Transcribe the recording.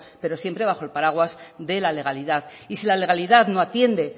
pero siempre bajo el paraguas de la legalidad y si la legalidad no atiende